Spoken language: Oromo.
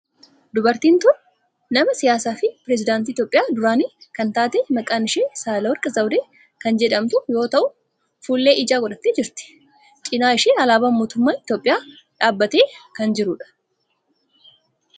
Dubartiin tun nama siyaasaa fi pireesidaantii Itiyoophiyaa duraanii kan taate maqaan ishee Sahaalewerq zawudee kan jedhamtu yoo ta'u fuullee ijaa godhattee jirti. Cinaa ishee alaabaan mootummaa Itiyoophiyaa dhaabbatee kan jirudha.